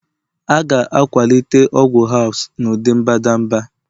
A ga-akwalite ọgwụ herbs n'ụdị mbadamba